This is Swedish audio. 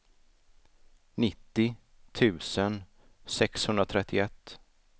nittio tusen sexhundratrettioett